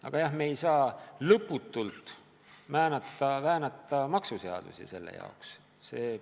Aga jah, me ei saa lõputult seepärast maksuseadusi väänata.